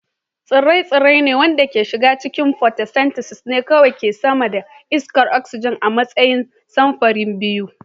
Tsire-tsire waɗanda ke shiga cikin photosynthesis ne kawai ke samar da iskar oxygen a matsayin samfuri biyu